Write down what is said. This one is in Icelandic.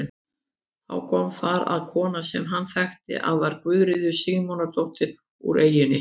Þá kom þar að kona sem hann þekkti að var Guðríður Símonardóttir úr eyjunni.